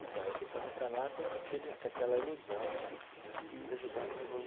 Então, eu fui para Nicarágua com aquele com aquela ilusão né... De que ia ajudar na